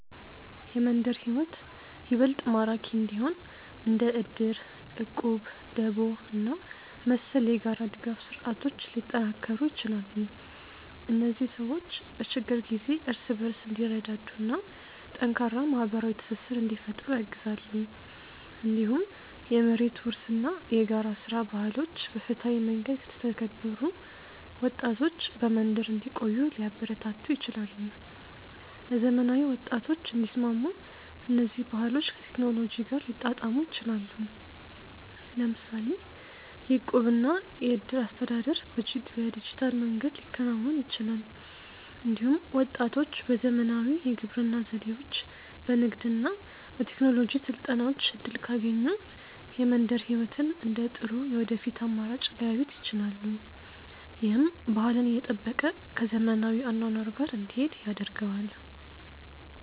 የመንደር ሕይወት ይበልጥ ማራኪ እንዲሆን እንደ እድር፣ እቁብ፣ ደቦ እና መሰል የጋራ ድጋፍ ስርዓቶች ሊጠናከሩ ይችላሉ። እነዚህ ሰዎች በችግር ጊዜ እርስ በርስ እንዲረዳዱ እና ጠንካራ ማህበራዊ ትስስር እንዲፈጥሩ ያግዛሉ። እንዲሁም የመሬት ውርስ እና የጋራ ሥራ ባህሎች በፍትሃዊ መንገድ ከተተገበሩ ወጣቶች በመንደር እንዲቆዩ ሊያበረታቱ ይችላሉ። ለዘመናዊ ወጣቶች እንዲስማሙ እነዚህ ባህሎች ከቴክኖሎጂ ጋር ሊጣጣሙ ይችላሉ። ለምሳሌ የእቁብ እና የእድር አስተዳደር በዲጂታል መንገድ ሊከናወን ይችላል። እንዲሁም ወጣቶች በዘመናዊ የግብርና ዘዴዎች፣ በንግድ እና በቴክኖሎጂ ስልጠናዎች እድል ካገኙ የመንደር ሕይወትን እንደ ጥሩ የወደፊት አማራጭ ሊያዩት ይችላሉ። ይህም ባህልን እየጠበቀ ከዘመናዊ አኗኗር ጋር እንዲሄድ ያደርገዋል።